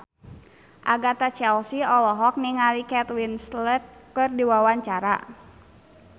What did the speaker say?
Agatha Chelsea olohok ningali Kate Winslet keur diwawancara